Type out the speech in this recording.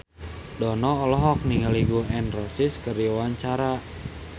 Dono olohok ningali Gun N Roses keur diwawancara